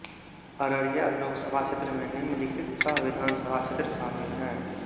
अररिया लोकसभा क्षेत्र में निम्नलिखित छह विधानसभा क्षेत्र शामिल हैं